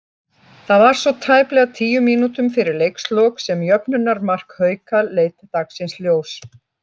Það var svo tæplega tíu mínútum fyrir leikslok sem jöfnunarmark Hauka leit dagsins ljós.